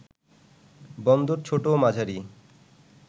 বন্দর ছোট ও মাঝারি